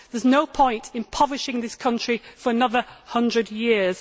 There is no point impoverishing this country for another 100 years.